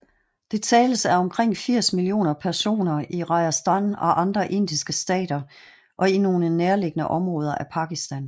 Det tales af omkring firs millioner personer i Rajasthan og andre indiske stater og i nogle nærliggende områder af Pakistan